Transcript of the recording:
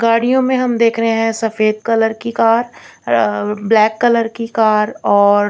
गाड़ियों में हम देख रहे हैं सफेद कलर की कार ब्लैक कलर की कार और--